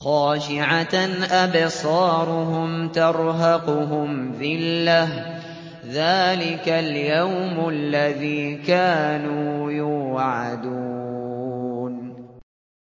خَاشِعَةً أَبْصَارُهُمْ تَرْهَقُهُمْ ذِلَّةٌ ۚ ذَٰلِكَ الْيَوْمُ الَّذِي كَانُوا يُوعَدُونَ